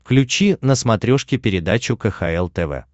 включи на смотрешке передачу кхл тв